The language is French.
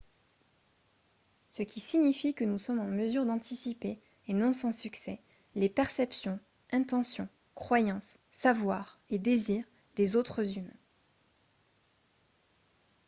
ce qui signifie que nous sommes en mesure d'anticiper et non sans succès les perceptions intentions croyances savoirs et désirs des autres humains